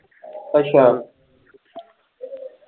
ਅੱਛਾ।